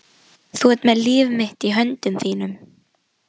Þú ert með líf mitt í höndum þínum.